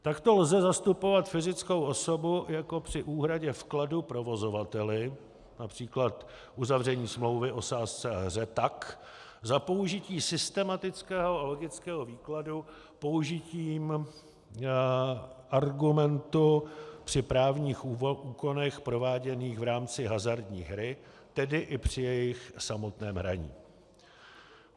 Takto lze zastupovat fyzickou osobu jako při úhradě vkladu provozovateli, například uzavření smlouvy o sázce a hře tak, za použití systematického a logického výkladu použitím argumentu při právních úkonech prováděných v rámci hazardní hry, tedy i při jejich samotném hraní.